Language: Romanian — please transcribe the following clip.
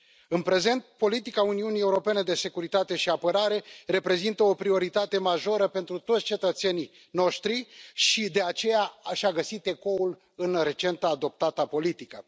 În prezent, politica Uniunii Europene de securitate și apărare reprezintă o prioritate majoră pentru toți cetățenii noștri și, de aceea, și a găsit ecoul în recent adoptata politică.